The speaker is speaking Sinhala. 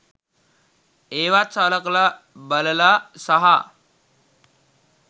ඒවත් සලකලා බලලා සහ